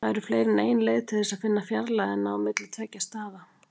Það eru fleiri en ein leið til þess að finna fjarlægðina á milli tveggja staða.